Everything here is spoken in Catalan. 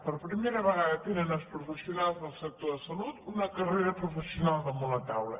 per primera vegada tenen els profes· sionals del sector de salut una carrera professional da·munt la taula